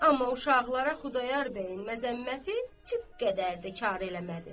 Amma uşaqlara Xudayar bəyin məzəmməti tiq qədər də kar eləmədi.